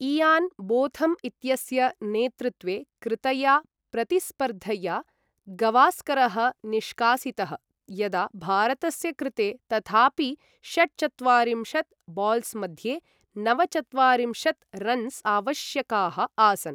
इयान् Botham इत्यस्य नेतृत्वे कृतया प्रतिस्पर्धया गवास्करः निष्कासितः, यदा भारतस्य कृते तथापि षट्चत्वारिंशत् बाल्स् मध्ये नवचत्वारिंशत् रन्स् आवश्यकाः आसन्।